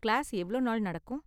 Class எவ்ளோ நாள் நடக்கும்?